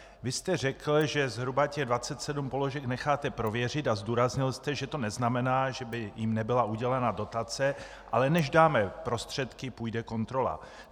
Vy jste řekl, že zhruba těch 27 položek necháte prověřit, a zdůraznil jste, že to neznamená, že by jim nebyla udělena dotace, ale než dáme prostředky, půjde kontrola.